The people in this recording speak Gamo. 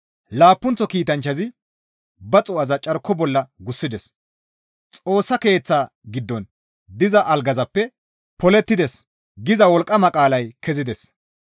Laappunththo kiitanchchazi ba xuu7aza carko bolla gussides; Xoossa Keeththa giddon diza algazappe, «Polettides» giza wolqqama qaalay kezides.